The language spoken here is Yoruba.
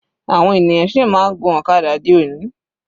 Àwọn ènìyàn sì máa ń gun ọ̀kadà di òní.